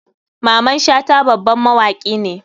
Maman shata baban mawaki ne.